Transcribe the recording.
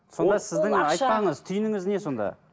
сонда сіздің айтпағыңыз түйініңіз не сонда